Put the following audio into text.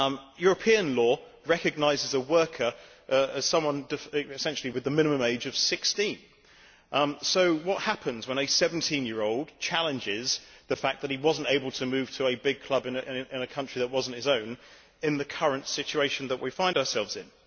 European law recognises a worker as someone essentially with the minimum age of 16, so what happens when a 17 year old challenges the fact that he was not able to move to a big club in a country that was not his own, in the current situation that we find ourselves in?